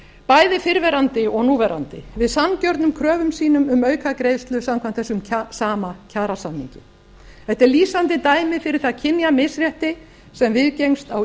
bæði fyrrverandi og núverandi við sanngjörnum kröfum sínum um aukagreiðslu samkvæmt þessum sama kjarasamningi þetta er lýsandi dæmi fyrir það kynjamisrétti sem viðgengst á